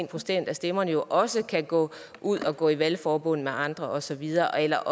procent af stemmerne når også kan gå ud og gå i valgforbund med andre og så videre eller